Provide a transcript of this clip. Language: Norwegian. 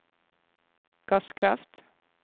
gasskraft